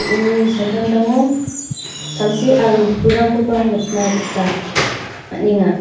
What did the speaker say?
uni samtangtango samsi aro pulrangkoba nikna gita man·enga.